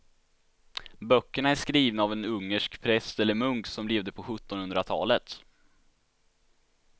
Böckerna är skrivna av en ungersk präst eller munk som levde på sjuttonhundratalet.